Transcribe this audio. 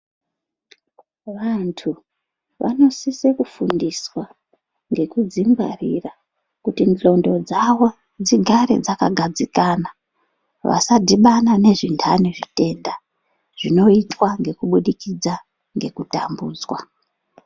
Vandu vanosisa kufundiswa ngekudzingwarira kuti nglondo dzavo dzigare dzakgadzikana vasadhibamana nezvindani zvitenda zvinoitwa ngekubudikidza ngekutambudzwa